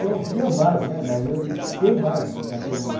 Sim, tinha mais, né, mas, tem mais até hoje.